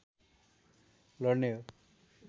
लड्ने हो